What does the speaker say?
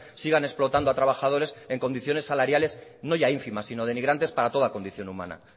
sigan explotando a trabajadores en condiciones salariales no ya ínfimas sino de denigrantes para toda condición humana